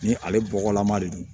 Ni ale bɔgɔlama de don